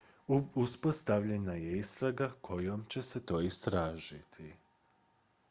uspostavljena je istraga kojom će se to istražiti